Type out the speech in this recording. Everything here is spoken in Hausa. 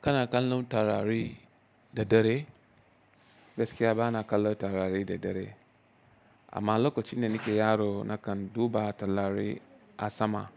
Kana kallon taurari da dare? Gaskiya bana kallon taurari da dare. Amma lokacin da nake yaro nakan duba taurari a sama